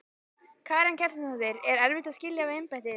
Karen Kjartansdóttir: Er erfitt að skilja við embættið?